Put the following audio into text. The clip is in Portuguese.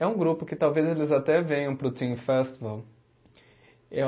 É um grupo que talvez eles até venham para o Teen Festival.